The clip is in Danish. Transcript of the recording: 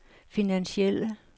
finansielle